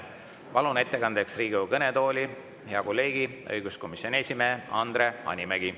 Palun ettekandeks Riigikogu kõnetooli hea kolleegi, õiguskomisjoni esimehe Andre Hanimägi.